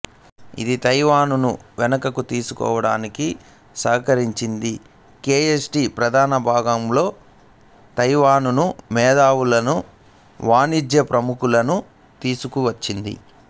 ఇది తైవానుని వెనుకకు తీసుకోడానికి సహకరించింది కె ఎం టి ప్రధాన భూభాగం తైవానుకు మేధావులను వాణిజ్య ప్రముఖులను తీసుకువచ్చింది